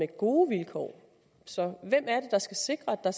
gode vilkår så hvem er det der skal sikre at